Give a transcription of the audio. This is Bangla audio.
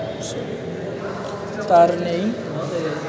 তার নেই